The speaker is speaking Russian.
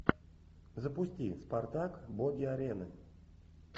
запусти спартак боги арены